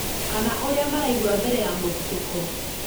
kana ũrĩa maraigua mbere ya mũthitũko